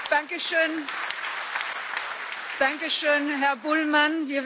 Danke schön, Herr Bullmann!